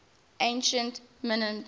ancient mints